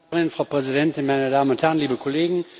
Frau Präsidentin, meine Damen und Herren, liebe Kollegen!